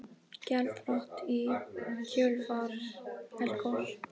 Gjaldþrot í kjölfar eldgoss